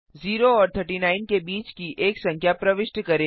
0 और 39 के बीच की एक संख्या प्रविष्ट करें